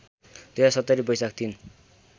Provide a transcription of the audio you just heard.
२०७० वैशाख ३